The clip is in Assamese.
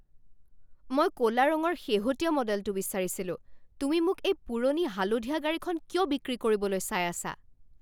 মই ক'লা ৰঙৰ শেহতীয়া মডেলটো বিচাৰিছিলোঁ। তুমি মোক এই পুৰণি হালধীয়া গাড়ীখন কিয় বিক্ৰী কৰিবলৈ চাই আছা?